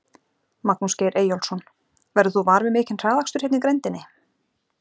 Magnús Geir Eyjólfsson: Verður þú var við mikinn hraðakstur hérna í grenndinni?